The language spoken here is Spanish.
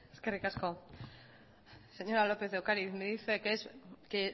eskerrik asko señora lópez de ocariz me dice que es que